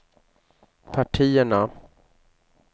partierna